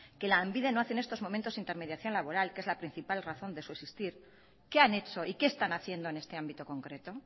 que lanbide no hace en estos momento intermediación laboral que es la principal razón de su existir qué han hecho y qué están haciendo en este ámbito concreto